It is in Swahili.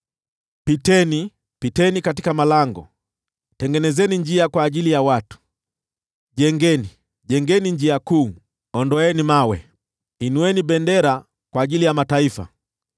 Piteni, piteni katika malango! Tengenezeni njia kwa ajili ya watu. Jengeni, jengeni njia kuu! Ondoeni mawe. Inueni bendera kwa ajili ya mataifa.